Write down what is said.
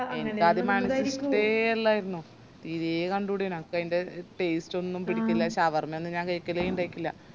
എനക്കാദ്യം shawarma ഇഷ്ട്ടയ് അല്ലായിരുന്നു തീരെ കണ്ടൂടെനു എനക്ക് അയിന്റെ taste ഒന്നും പിടിക്കൂല shawarma ഒന്നും ഞാൻ കൈകലെ ഇണ്ടായിറ്റില്ല